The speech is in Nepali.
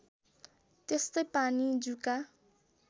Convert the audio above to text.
त्यस्तै पानी जुका